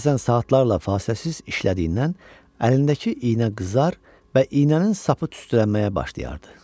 Bəzən saatlarla fasiləsiz işlədiyindən əlindəki iynə qızar və iynənin sapı tüstülənməyə başlayardı.